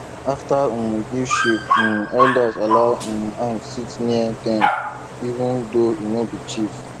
after e um give sheep um elders allow um am sit near them even though e no be chief